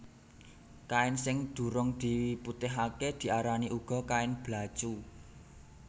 Kain sing durung diputihaké diarani uga kain blacu